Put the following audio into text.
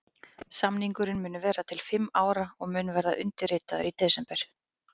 Samningurinn mun vera til fimm ára og mun verða undirritaður í desember.